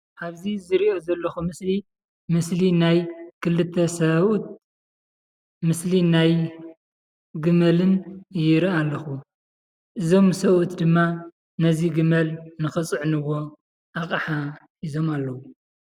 አብዚ ዝሪኦ ዘለኹ ምስሊ ምስሊ ናይ ክልተ ሰብኡትን ምስሊ ናይ ግመልን ይርኢ ኣለኹ እዞም ሰብኡት ድማ ነቲ ግመል ንክፅዕኑዎም ኣቕሓ ሒዞም ኣለዉ ።